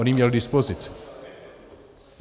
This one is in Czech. On ji měl k dispozici.